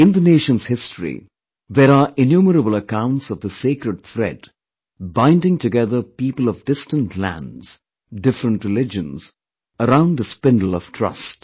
In the nation's history, there are innumerable accounts of this sacred thread, binding together people of distant lands, different religions, around a spindle of trust